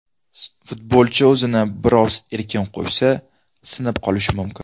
Futbolchi o‘zini biroz erkin qo‘ysa sinib qolishi mumkin.